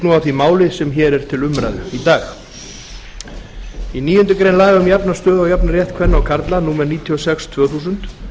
því máli sem hér er til umræðu í dag í níundu grein laga um jafna stöðu og jafnan rétt kvenna og karla númer níutíu og sex tvö þúsund